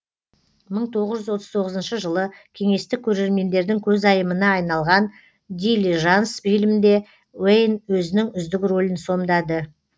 мың тоғыз жүз отыз тоғызыншы жылы кеңестік көрермендердің көзайымына айналған дилижанс фильмінде уэйн өзінің үздік рөлін сомдады